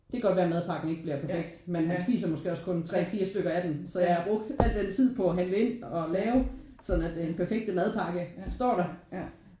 Det kan godt være madpakken ikke bliver perfekt men han spiser måske også kun 3 4 stykker af den. Så jeg har brugt al den tid på at handle ind og lave sådan at det er den perfekte madpakke der står der